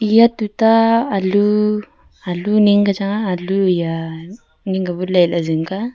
eya tota alu alu ning kya chang nga alu hiya aning kya bu ley ni ke bu jing ka.